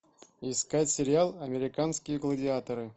искать сериал американские гладиаторы